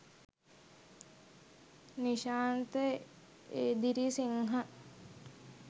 nishantha edirisinghe